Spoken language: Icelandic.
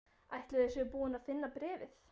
Ætli þau séu búin að finna bréfið?